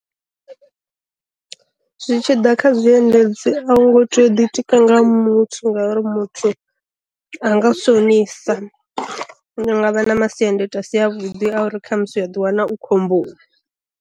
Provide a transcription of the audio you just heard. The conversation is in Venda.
Zwi tshi ḓa kha zwi endedzi a u ngo tea u ḓitika nga muthu ngauri muthu a nga u shonisa nga vha na masiandaitwa a si a vhuḓi a uri kha musi wa diwana u khomboni.